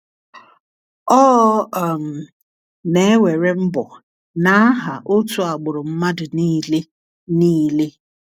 Ọ um na-ewere mbọ n’aha otu agbụrụ mmadụ niile. niile.